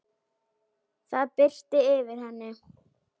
Það birti yfir henni.